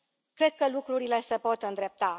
cred că lucrurile se pot îndrepta.